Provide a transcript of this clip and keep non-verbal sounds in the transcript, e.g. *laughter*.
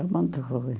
*unintelligible* muito ruim.